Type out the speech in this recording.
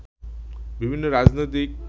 বিভিন্ন রাজনৈতিক